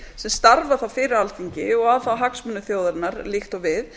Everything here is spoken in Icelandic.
sem starfa þá fyrir alþingi og að þá hagsmunum þjóðarinnar líkt og við